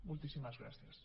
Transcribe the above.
moltíssimes gràcies